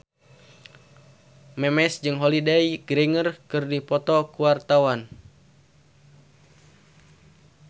Memes jeung Holliday Grainger keur dipoto ku wartawan